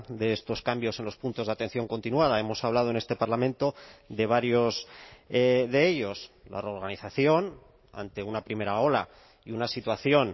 de estos cambios en los puntos de atención continuada hemos hablado en este parlamento de varios de ellos la reorganización ante una primera ola y una situación